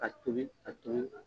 Ka tobi a tun.